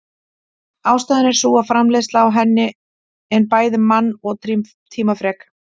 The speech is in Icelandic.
Ástæðan er sú að framleiðsla á henni en bæði mann- og tímafrek.